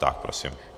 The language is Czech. Tak prosím.